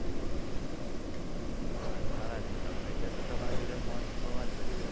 હા સારા છો તમે એટલે તો તમારા જોડે ફોન પર વાત કરી રહ્યો છું.